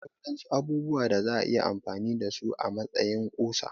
Akwai waɗansu abubuwa da za'a iya amfani da su a matsayin ƙusa